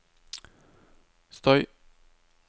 støy